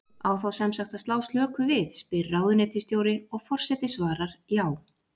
Á þá sem sagt að slá slöku við? spyr ráðuneytisstjóri, og forseti svarar: Já.